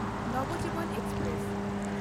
Navjeevan express